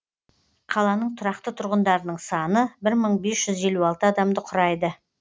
қаланың тұрақты тұрғындарының саны бір мың бес жүз елу алты адамды құрайды